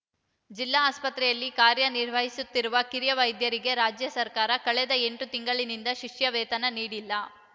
ಜಿಲ್ಲಾ ಆಸ್ಪತ್ರೆಯಲ್ಲಿ ಕಾರ್ಯ ನಿರ್ವಹಿಸುತ್ತಿರುವ ಕಿರಿಯ ವೈದ್ಯರಿಗೆ ರಾಜ್ಯ ಸರ್ಕಾರ ಕಳೆದ ಎಂಟು ತಿಂಗಳಿನಿಂದ ಶಿಷ್ಯ ವೇತನ ನೀಡಿಲ್ಲ